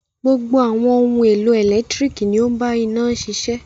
Gbogbo àwọn ohun-èlò ẹ̀lẹ́tíríkì ni ó ń bá iná ṣiṣẹ́.